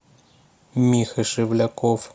миха шевляков